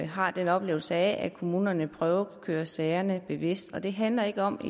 har en oplevelse af at kommunerne prøvekører sagerne bevidst og det handler ikke om